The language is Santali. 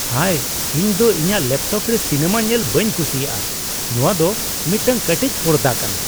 ᱦᱟᱭ, ᱤᱧ ᱫᱚ ᱤᱧᱟᱜ ᱞᱮᱯᱴᱚᱯ ᱨᱮ ᱥᱤᱱᱟᱹᱢᱟ ᱧᱮᱞ ᱵᱟᱹᱧ ᱠᱩᱥᱤᱭᱟᱜᱼᱟ ᱾ ᱱᱚᱣᱟ ᱫᱚ ᱢᱤᱫᱴᱟᱝ ᱠᱟᱹᱴᱤᱡ ᱯᱚᱨᱫᱟ ᱠᱟᱱᱟ ᱾